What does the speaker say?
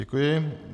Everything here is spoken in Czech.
Děkuji.